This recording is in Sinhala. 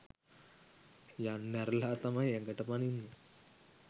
යන්න ඇරලා තමයි ඇඟට පනින්නේ.